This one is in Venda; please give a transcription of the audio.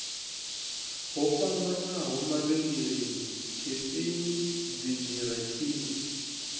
ho fhambanaho mavhengeleni khefini dzigaratshini